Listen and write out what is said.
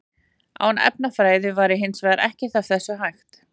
Án efnafræði væri hins vegar ekkert af þessu hægt.